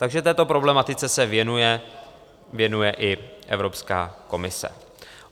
Takže této problematice se věnuje i Evropská komise.